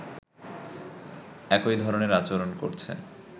একই ধরনের আচরণ করছে